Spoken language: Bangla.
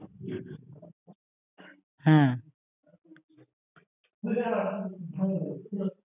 হ্যা